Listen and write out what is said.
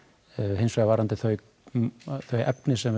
hins vegar varðandi þau þau efni sem